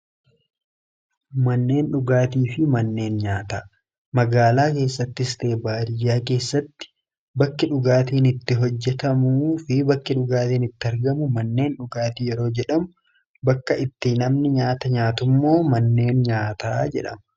Manneen dhugaatii fi manneen nyaata magaalaa keessattis ta'e baadiyyaa keessatti bakki dhugaatiin itti hojjetamu fi bakki dhugaatiin itti argamu manneen dhugaatii yeroo jedhamu ;bakka itti namni nyaata nyaatu immoo manneen nyaataa jedhama.